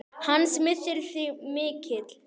Hans missir er mikill.